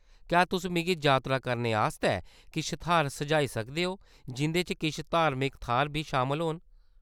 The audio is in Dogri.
क्या तुस मिगी जातरा करने आस्तै किश थाह्‌र सुझाई सकदे ओ, जिं'दे च किश धार्मिक थाह्‌‌‌र बी शामल होन ?